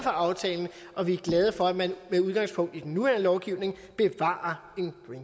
aftalen og vi er glade for at man med udgangspunkt i den nuværende lovgivning bevarer